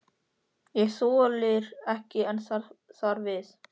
Og þolir ekki enn þar við.